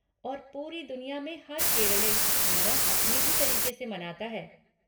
और पूरी दुनिया में हर केरलई ओणम अपने ही तरीक़े से मनाता है।